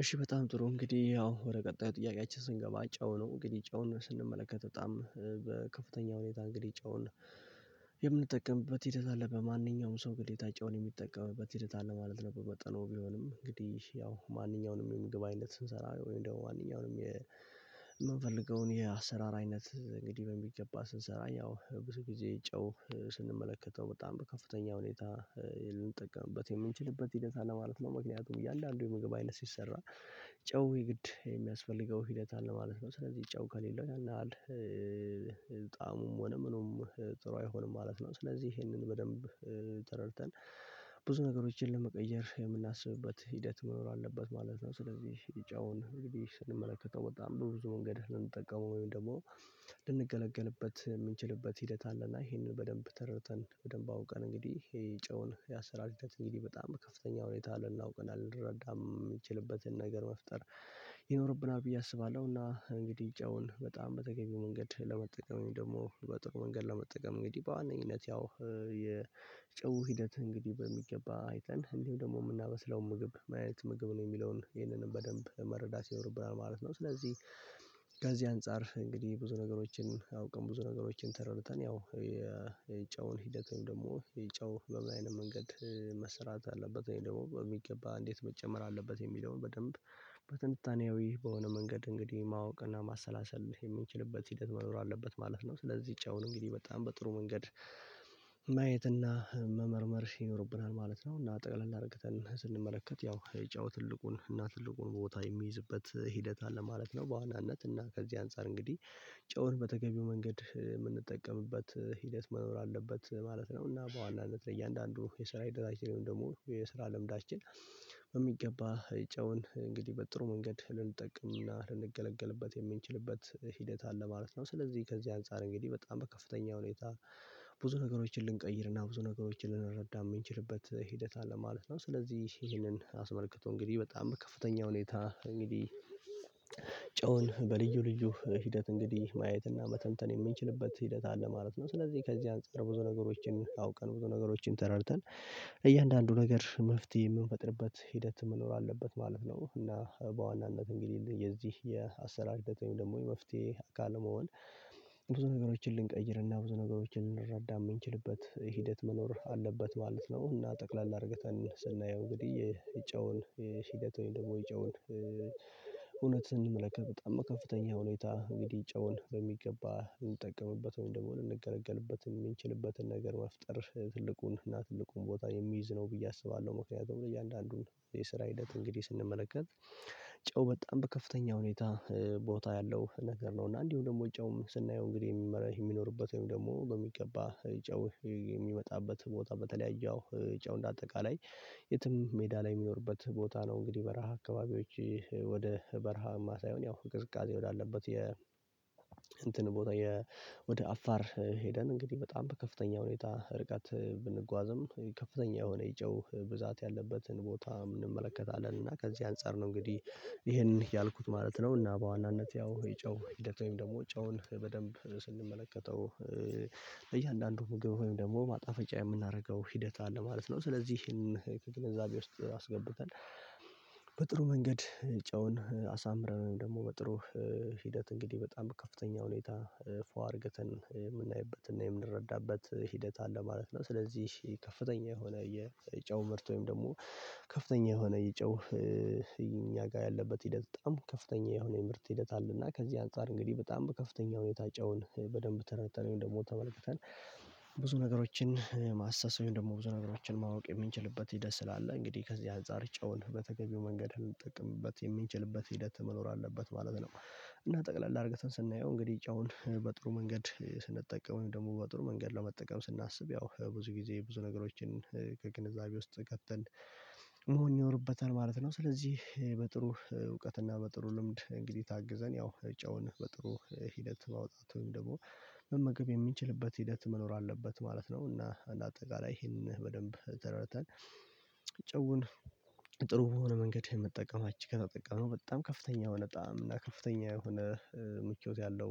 እሺ በጣም ጥሩ እንግዲህ ያው ወደ ቀጣዩ ጥያቄያችን ስንገባ ጨው ነው እንግዲህ ጨውን ስንመለከት በጣም ከፍተኛ ሁኔታ እንግዲህ ጨውን የምንጠቀምበት ሂደት አለ በማንኛውም ሰው ግዴታጭ ጨውን የሚጠቀምበት ሂደት አለ ማለት ነው። በመጠኑ ቢሆንም እንግዲህ ያው ማንኛውንም የምግብ አይነት ስንሰራ ወይም ደግሞ ዋናውንም የምንፈልገውን የአሰራር አይነት እንግዲህ በሚገባ ስንሰራ ያው ብዙ ጊዜ ጨው ስንመለከተው በጣም በከፍተኛ ሁኔታ ልንጠቀምበት የምንችልበት ሂደት አለ ማለት ነው። ምክንያቱም እያለ አንዱ የምግብ አይነት ሲሰራ ጨው የግድ የሚያስፈልገው ሂደት አለ ማለት ነው። ስለዚህ ጨው ከሌለ ያን ያህል ጣእሙም ሆነ ምኑም ጥሩ አይሆንም ማለት ነው። ስለዚህ ይሄንን በደንብ ብዙ ነገሮችን ለመቀየር የምናስብበት ሂደት መኖር አለበት ማለት ነው። ስለዚህ ጨውን እንግዲህ ስንመለከተው በጣም ብዙ መንገድ ልንጠቀመው ወይም ደግሞ ልንገለገልበት የምንችልበት ሂደት አለና ይሄንን በደንብ ተረተን በደንብ አውቀን እንግዲህ የጨውን ያሰራር ሂደትን እንግዲህ በጣም ከፍተኛ ሁኔታ ልናውቀናል ልንረዳም የምንችልበትን ነገር መፍጠር። ይኖርብናል ብዬ አስባለሁና እንግዲህ ጨውን በጣም በተገኘው መንገድ ለመጠቀም ደግሞ በጥሩ መንገድ ለመጠቀም እንግዲህ በአንይነት ያው የጨው ሂደት እንግዲህ በሚገባ አይተን እንዲሁ ደግሞ የምናመስለው ምግብ ማየት ምግብ ነው የሚለውን ይህንንም በደንብ ለመረዳት ይኖርብናል ማለት ነው። ስለዚህ ከዚህ አንፃር እንግዲህ ብዙ ነገሮችን አውቀን ብዙ ነገሮችን ተረድተን ያው የጨውን ሂደት ወይም ደግሞ የጨው በምን አይነት መንገድ መሰራት አለበት ወይም ደግሞ በሚገባ እንዴት መጨመር አለበት የሚለውን በደንብ በትንታኔው ይህ በሆነ መንገድ እንግዲህ ማወቅና ማሰላሰል የምንችልበት ሂደት መኖር አለበት ማለት ነው። ስለዚህ ጨውን እንግዲህ በጣም በጥሩ መንገድ ማየትና መመርመር ይኖርብናል ማለት ነው። እና ጠቅላላ አድርገን ስንመለከት ያው የጨው ትልቁን እና ትልቁን ቦታ የሚይዝበት ሂደት አለ ማለት ነው። በዋናነት እና ከዚህ አንፃር እንግዲህ ጨውን በተገቢው መንገድ የምንጠቀምበት ሂደት መኖር አለበት ማለት ነው። እና በዋናነት ለእያንዳንዱ የስራ ሂደት አችልን ደግሞ የስራ ለምዳችን በሚገባ ጨውን እንግዲህ በጥሩ መንገድ ልንጠቅምና ልንገለግልበት የምንችልበት ሂደት አለ ማለት ነው። ስለዚህ ከዚህ አንፃር እንግዲህ በጣም በከፍተኛ ሁኔታ ብዙ ነገሮችን ልንቀይርና ብዙ ነገሮችን ልንረዳ የምንችልበት ሂደት አለ ማለት ነው። ስለዚህ ይሄንን አስመልክቶ እንግዲህ በጣም ከፍተኛ ሁኔታ እንግዲህ ጨውን በልዩ ልዩ ሂደት እንግዲህ ማየትና መተንተን የምንችልበት ሂደት አለ ማለት ነው። ስለዚህ ከዚህ አንፃር ብዙ ነገሮችን አውቀን ብዙ ነገሮችን ተረድተን እያንዳንዱ ነገር መፍትሄ የምንፈጥርበት ሂደት መኖር አለበት ማለት ነው። እና በዋናነት እንግዲህ የዚህ የአሰራር ደግሞ የመፍትሄ አካል መሆን ብዙ ነገሮችን ልንቀይርና ብዙ ነገሮችን ልንረዳ የምንችልበት ሂደት መኖር አለበት ማለት ነው። እና ጠቅላላ አድርገተን ስናየው እንግዲህ ይጨውን ሽተት ወይም ደግሞ ይጨውን እውነትን ስንመለከት በጣም ከፍተኛ ሁኔታ እንግዲህ ጨውን በሚገባ እንጠቀምበት ወይም ደግሞ እንገለገልበት የምንችልበትን ነገር መፍጠር ትልቁን እና ትልቁን ቦታ የሚይዝ ነው ብዬ አስባለሁ። መካከል ያው የእያንዳንዱን የስራ እለት እንግዲህ ስንመለከት ጨው በጣም በከፍተኛ ሁኔታ ቦታ ያለው ነገር ነው። እና እንዲሁ ደግሞ ጨውም ስናየው እንግዲህ የሚመረህ የሚኖርበት ወይም ደግሞ በሚገባ ጨው የሚወጣበት ቦታ በተለያዩ ጨው እንደ አጠቃላይ የትም ሜዳ ላይ የሚኖርበት ቦታ ነው። እንግዲህ በረሃ አካባቢዎች ወደ በረሃማ ሳይሆን ያው ቅዝቃዜ ወዳለበት የ እንትን ቦታ ወደ አፋር ሄደን እንግዲህ በጣም በከፍተኛ ሁኔታ ርቀት ብንጓዝም ከፍተኛ የሆነ የጨው ብዛት ያለበትን ቦታ እንመለከታለን እና ከዚህ አንፃር ነው እንግዲህ ይሄን ያልኩት ማለት ነው። እና በዋናነት ያው የጨው ሂደት ወይም ደግሞ ጨውን በደንብ ስንመለከተው በእያንዳንዱ ምግብ ወይም ደግሞ ማጣፈጫ የምናደርገው ሂደት አለ ማለት ነው። ስለዚህ ይሄን ከግንዛቤ ውስጥ አስገብተን በጥሩ መንገድ ጨውን አሳምረን ወይም ደግሞ በጥሩ ሂደት እንግዲህ በጣም ከፍተኛ ሁኔታ ፉአ አርግተን የምናይበትና የምንረዳበት ሂደት አለ ማለት ነው። ስለዚህ ከፍተኛ የሆነ የጨው ምርት ወይም ደግሞ ከፍተኛ የሆነ የጨው እኛ ጋር ያለበት ሂደት በጣም ከፍተኛ የሆነ የምርት ሂደት አለና ከዚህ አንፃር እንግዲህ በጣም ከፍተኛ የጨውን በደንብ ተረተነው ደግሞ ተመልክተናል ብዙ ነገሮችን ማሳሰቢያውን ደግሞ ብዙ ነገሮችን ማወቅ የምንችልበት ደስ ይላል እንግዲህ ከዚህ አንፃር ጨውን በተገቢው መንገድ የምንጠቅምበት የምንችልበት ሂደት መኖር አለበት ማለት ነው። እና ጠቅለል አርግተን ስናየው እንግዲህ እጫውን በጥሩ መንገድ ስንጠቀመው ወይም ደግሞ በጥሩ መንገድ ለመጠቀም ስናስብ ያው ብዙ ጊዜ ብዙ ነገሮችን ከግንዛቤ ውስጥ ቀጥል መሆን ይኖርበታል ማለት ነው። ስለዚህ በጥሩ እውቀት እና በጥሩ ልምድ እንግዲህ ታግዘን ያው ጨውን በጥሩ ሂደት ማውጣት ወይም ደግሞ መመገብ የሚችልበት ሂደት መኖር አለበት ማለት ነው። እና አንድ አጠቃላይ ይሄንን በደንብ ተራራታል ጨውን ጥሩ የሆነ መንገድ የምጠቀማችሁ አች ጋር አጠቃመው በጣም ከፍተኛ የሆነ ጣዕም እና ከፍተኛ የሆነ ምቾት ያለው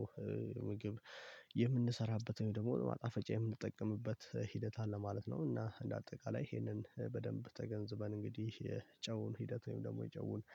ምግብ የምንሰራበት ወይም ደግሞ ማጣፈጫ የምንጠቀምበት ሂደት አለ ማለት ነው። እና እንደ አጠቃላይ ይሄንን በደንብ ተገንዝበን እንግዲህ የጨውን ሂደት ወይም ደግሞ የጨውን